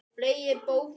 Fleygi bókinni frá mér.